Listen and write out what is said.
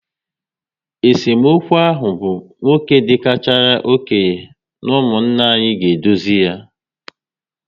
Esemokwu ahụ bụ nwoke dị karịchara okenye n'umunna anyị ga edozi yá